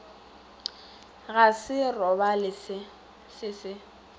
go se robale se se